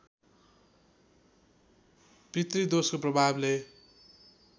पितृदोषको प्रभावले